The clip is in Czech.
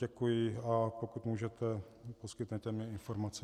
Děkuji, a pokud můžete, poskytněte mi informace.